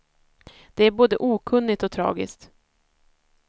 Det är både okunnigt och tragiskt.